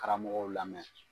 Karamɔgɔw lamɛn